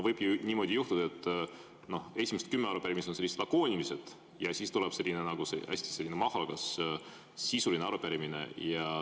Võib niimoodi juhtuda, et esimesed kümme arupärimist on sellised lakoonilised, ja siis tuleb selline nagu see, hästi mahukas sisuline arupärimine.